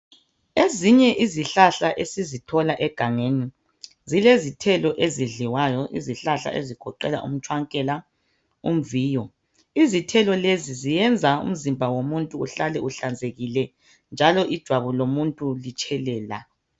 Ezinye izihlahla esizithola egangeni zile zithelo ezidliwayo izihlahla ezigoqela umtshwankela umviyoizithrlo lezi zenza umzimba womuntu uhlale uhlanzekile njalo ijwabu lomuntu litshelela.